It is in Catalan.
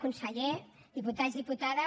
conseller diputats diputades